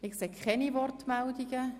– Ich sehe keine Wortmeldungen.